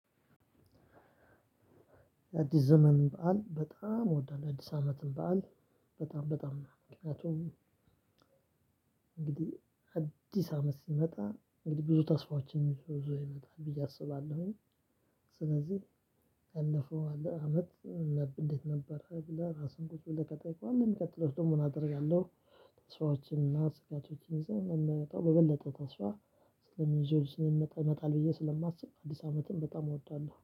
የአዲስ ዘመን በዓል በጣም እወዳለሁ የአዲስ አመትም በዓል። በጣም በጣም ምክንያቱም እንግዲህ አዲስ አመት ሲመጣ እንግዲህ ብዙ ተስፋዎችን ይዞ ይመጣል ብዬ አስባለሁኝ። ስለዚህ ከለፈው አለ አመት። እንዴት ነበረ ብለህ ራስህን ቁጭ ብለህ ከጠየቅክ በኋላ የሚቀጥለው ደግሞ ምን አደርጋለሁ። ሰዎችንና ስራዎችን ይዘ። በበለጠ ተስፋ። ይዞ ስንሚጣ ይመጣል ብዬ ስለማስብ አዲስ አመትም በጣም እወዳለሁ